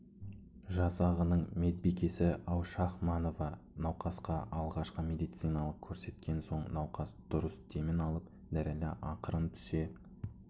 жасағының медбикесі аушахманова науқасқа алғашқы медициналық көрсеткен соң науқас дұрыс демін алып дірілі ақырын түсе